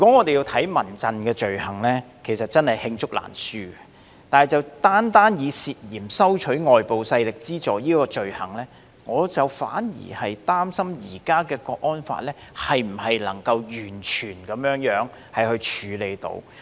說到民陣的罪行，委實是罄竹難書，但單以涉嫌收取外部勢力資助這項罪行而論，我反而擔心現行的《香港國安法》能否完全處理到。